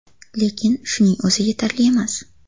Lekin shuning o‘zi yetarli emas.